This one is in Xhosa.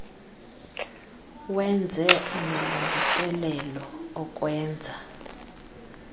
wenze amalungiselelo okwenza